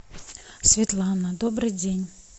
светлана добрый день